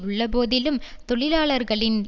உள்ள போதிலும் தொழிலாளர்களின்